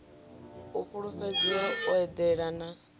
u fhulufhedzea u eḓana u